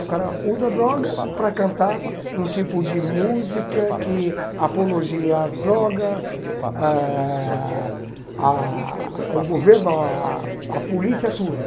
O cara usa drogas para cantar um tipo de música que apologia às drogas, ãh ah ao governo, ah à polícia, a tudo.